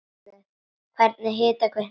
Hvernig hitar kvikan vatnið?